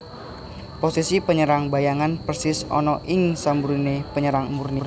Posisi panyerang bayangan persis ana ing samburiné penyerang murni